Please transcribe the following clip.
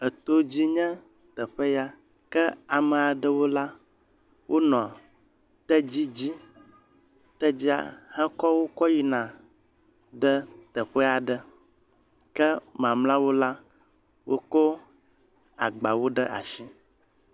Etodzi nye teƒe ya. Ke ama ɖewo la wonɔ tedzi dzi. Tedzia hekɔ wo kɔ yina teƒe aɖe. Ke mamlɛawo la wokɔ agba ɖe asi.